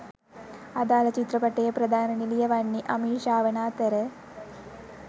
අදාල චිත්‍රපටයේ ප්‍රධාන නිළිය වන්නේ අමීෂා වන අතර